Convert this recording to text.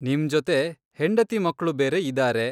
ನಿಮ್ ಜೊತೆ ಹೆಂಡತಿ ಮಕ್ಳು ಬೇರೆ ಇದಾರೆ.